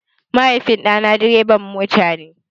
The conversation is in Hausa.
Mahaifin ɗa na dreban mota ne.